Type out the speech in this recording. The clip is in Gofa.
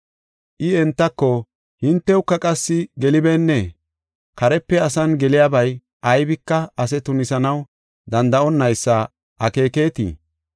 I entako, “Hintewuka qassi gelibeennee? Karepe asan geliyabay aybika ase tunisanaw danda7onnaysa akeeketii?